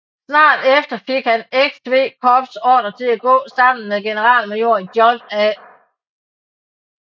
Snart efter fik hans XV Corps ordre til at gå sammen med generalmajor John A